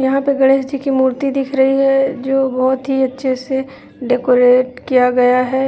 यहां पर गणेश जी मूर्ति दिख रही है जो बहुत ही अच्छे से डेकोरेट किया गया है